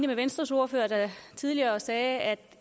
med venstres ordfører der tidligere sagde at det